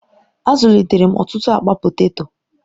Azụlitere m ọtụtụ akpa poteto.